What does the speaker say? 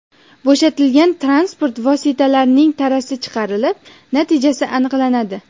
Bo‘shatilgan transport vositasining tarasi chiqarilib, natijasi aniqlanadi.